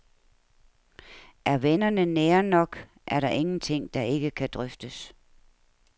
Er vennerne nære nok, er der ingenting, der ikke kan drøftes.